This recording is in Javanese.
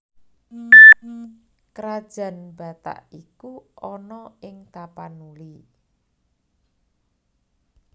Krajan Batak iku ana ing Tapanuli